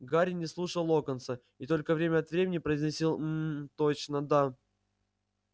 гарри не слушал локонса и только время от времени произносил мм точно да